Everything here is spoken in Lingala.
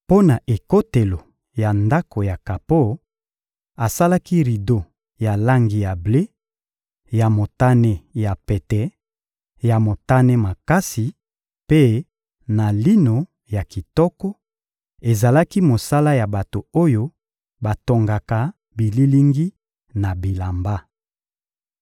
Mpo na ekotelo ya Ndako ya kapo, asalaki rido ya langi ya ble, ya motane ya pete, ya motane makasi mpe na lino ya kitoko; ezalaki mosala ya bato oyo batongaka bililingi na bilamba.